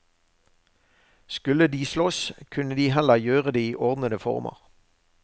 Skulle de slåss, kunne de heller gjøre det i ordnede former.